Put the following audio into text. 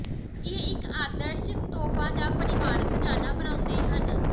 ਇਹ ਇੱਕ ਆਦਰਸ਼ ਤੋਹਫ਼ਾ ਜਾਂ ਪਰਿਵਾਰਕ ਖਜ਼ਾਨਾ ਬਣਾਉਂਦੇ ਹਨ